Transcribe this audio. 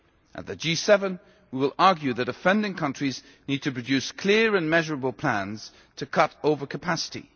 At the G7, we will argue that offending countries need to produce clear and measurable plans to cut over capacity.